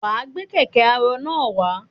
Wàá gbé kẹ̀kẹ́ arọ náà wá.